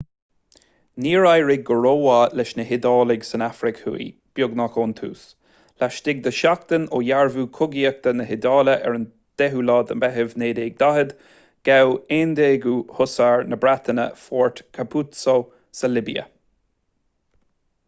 níor éirigh go rómhaith leis na hiodálaigh san afraic thuaidh beagnach ón tús laistigh de sheachtain ó dhearbhú cogaidh na hiodáile ar an 10 meitheamh 1940 ghabh 11ú hussars na breataine fort capuzzo sa libia